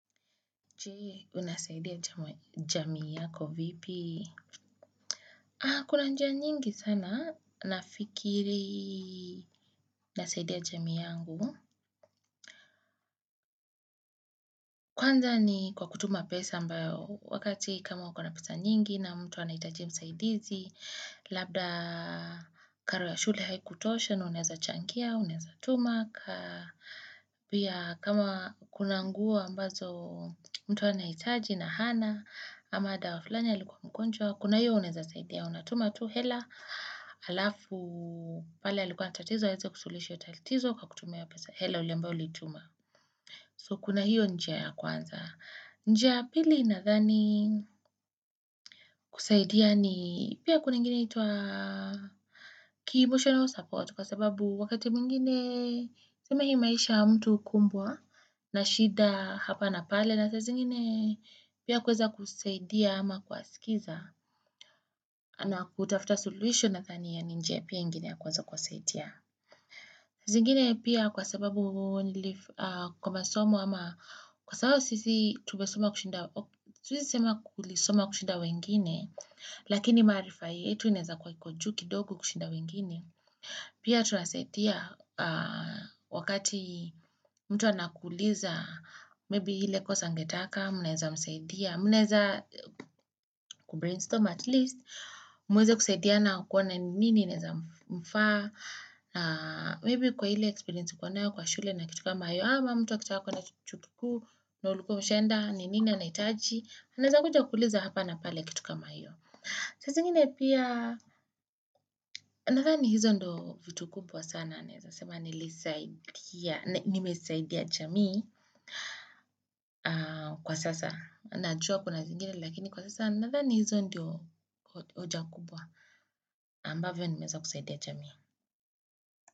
Je, unasaidia jamii yako vipi? Kuna njia nyingi sana, nafikiri nasaidia jamii yangu. Kwanza ni kwa kutuma pesa ambayo, wakati kama uko na pesa nyingi na mtu a nahitaji usaidizi, labda karo ya shule haikutosha, na unaweza changia, unaweza tuma kaa. Pia kama kuna nguo ambazo mtu anahitaji na hana, ama dawa flani alikuwa mgonjwa, kuna hiyo unweza saidia, unatuma tu, hela alafu pale alikuwa na tatizo, aweze kusulihisha tatizo kwa kutumia pesa, hela uliyo ulituma. So kuna hiyo njia ya kwanza. Njia ya pili nadhani kusaidia ni pia kuna ingine inaitwa kibushono support kwa sababu wakati mwingine tuseme hii maisha mtu kumbwa na shida hapa na pale. Na saa zingine pia kuweza kusaidia ama kuwaskiza na kutafuta suluhisho nadhania ni njia pia nyingine ya kuweza kuwasaidia zingine pia kwa sababu kwa masomo ama kwa sababu sisi tumesoma kushinda siwezi kusema kusoma kushinda wengine lakini maarifa yetu inaweza kuwa iko juu kidogo kushinda wengine pia tunasetia wakati mtu anakuuliza maybe ile kosa ngetaka mnaweza msaidia mnaweza kubrainstorm at least mweze kusaidiana kuona nini inaweza mfaa maybe kwa ile experience uko nayo kwa shule na kitu kama hiyo ama mtu akitaka kuenda chuo kikuu na ulikuwa umeshaenda ni nini anahitaji unaweza kuja kuuliza hapa na pale kitu kama hiyo saa zingine pia nadhani hizo ndio vitu kubwa sana naweza sema nilisaidia nimesaidia jamii kwa sasa. Najua kuna zingine lakini kwa sasa nadhani hizo ndio oja kubwa ambavyo nimeweza kusaidia jamii.